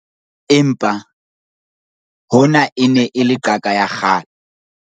Empa, hona e ne e le qaka ya kgale.